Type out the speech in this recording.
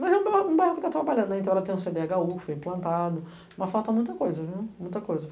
Mas é um bairro que está trabalhando, tem um cê dê agá u que foi implantado, mas falta muita coisa.